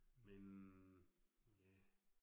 Men. Ja